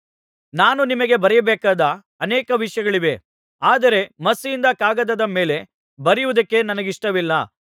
ನಾನು ನಿನಗೆ ಬರೆಯಬೇಕಾದ ಅನೇಕ ವಿಷಯಗಳಿವೆ ಆದರೆ ಮಸಿಯಿಂದ ಕಾಗದದ ಮೇಲೆ ಬರೆಯುವುದಕ್ಕೆ ನನಗಿಷ್ಟವಿಲ್ಲ